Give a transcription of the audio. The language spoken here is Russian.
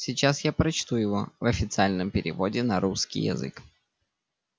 сейчас я прочту его в официальном переводе на русский язык